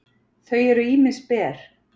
þau eru ýmist ber